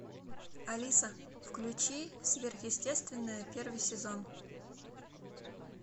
алиса включи сверхъестественное первый сезон